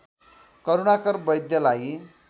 Karunakar वैद्यलाई